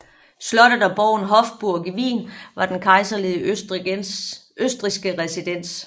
Slottet og borgen Hofburg i Wien var den kejserlige østrigske residens